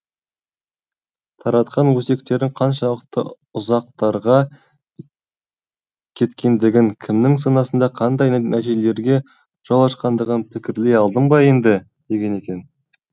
таратқан өсектерің қаншалықты ұзақтарға кеткендігін кімнің санасында қандай нәтижелерге жол ашқандығын пікірлей алдың ба енді деген екен